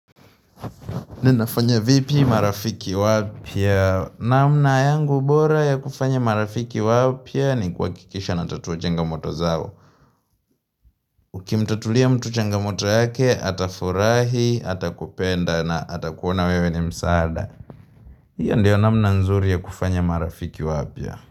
Na nafanya vipi marafiki wapya? Namna yangu bora ya kufanya marafiki wapya ni kuhakikisha natatua changamoto zao. Ukimtatulia mtu changamoto yake, atafurahi, atakupenda na atakuona wewe ni msaada. Hiyo ndiyo namna nzuri ya kufanya marafiki wapya.